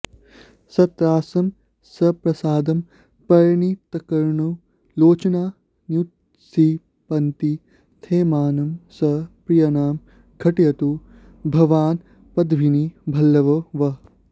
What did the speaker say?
सत्रासं सप्रसादं परिणतकरुणं लोचनान्युत्क्षिपन्ति स्थेमानं स प्रियाणां घटयतु भगवान्पद्मिनीवल्लभो वः